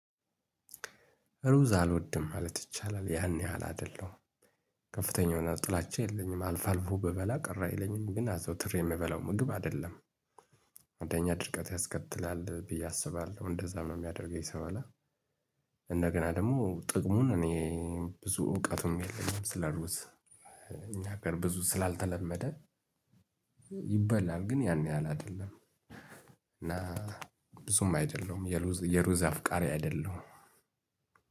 እሩዝ አልወድም ማለት ይቻላል። ያን ያህል አይደለሁም። ከፍተኛ የሆነ ጥላቻ የለኝም። አልፎ አልፎ ብበላ ቅር አይለኝም። ግን አዘውትረ የሚበላው ምግብ አይደለም። አንደኛ ድርቀት ያስከትላል ብዬ አስባለሁ፣ እንደዛ ነው የሚያደርገኝ ስለሆነ እንደገና ደግሞ ጥቅሙን እኔ ብዙ እውቀቱም የለኝም ስለ ሩዝ። እኛ ሀገር ብዙ ስላልተለመደ ይበላል ግን ያን ያህል አይደለም። እና ብዙም አይደለሁም፣ የሩዝ የሩዝ አፍቃሪ አይደለሁም።